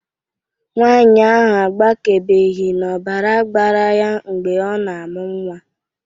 Nwanyị ahụ agbakebeghị n'ọbara gbara ya mgbe ọ na-amụ nnwa